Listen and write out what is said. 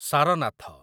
Sarnath